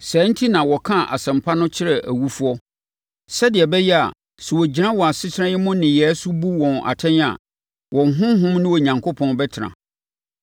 Saa enti na wɔkaa Asɛmpa no kyerɛɛ awufoɔ, sɛdeɛ ɛbɛyɛ a sɛ wɔgyina wɔn asetena yi mu nneyɛeɛ so bu wɔn atɛn a wɔn honhom ne Onyankopɔn bɛtena.